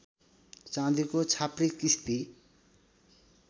चाँदीको छाप्री किस्ती